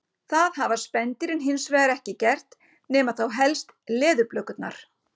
Það hafa spendýrin hins vegar ekki gert nema þá helst leðurblökurnar.